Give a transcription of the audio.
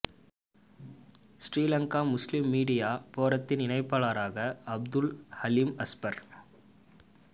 Sri Lanka Muslim media போரத்தின் இணைப்பாளராக அப்துல் ஹலீம் ஹஸ்பர்